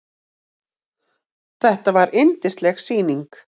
Þetta var yndisleg sýning.